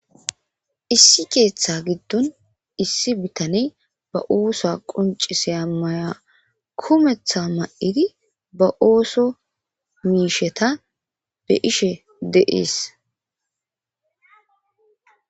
Issi keeththa giddon issi bitaney ba osa qonciseya maya kumetha ma'idi ba ooso miisheta be'ishe deees.